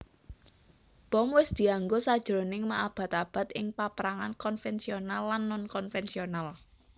Bom wis dianggo sajroning maabad abad ing paprangan konvensional lan non konvensional